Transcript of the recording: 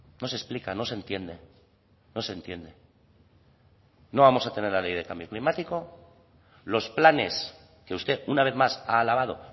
no se explica no se entiende no se entiende no vamos a tener la ley de cambio climático los planes que usted una vez más ha alabado